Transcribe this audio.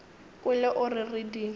kwele o re re di